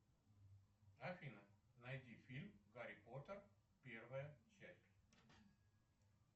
афина найди фильм гарри поттер первая часть